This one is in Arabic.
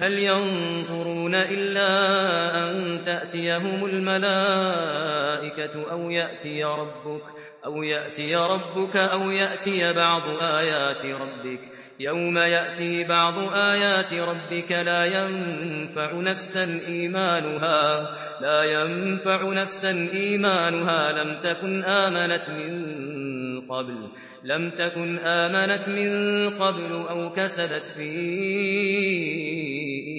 هَلْ يَنظُرُونَ إِلَّا أَن تَأْتِيَهُمُ الْمَلَائِكَةُ أَوْ يَأْتِيَ رَبُّكَ أَوْ يَأْتِيَ بَعْضُ آيَاتِ رَبِّكَ ۗ يَوْمَ يَأْتِي بَعْضُ آيَاتِ رَبِّكَ لَا يَنفَعُ نَفْسًا إِيمَانُهَا لَمْ تَكُنْ آمَنَتْ مِن قَبْلُ أَوْ كَسَبَتْ فِي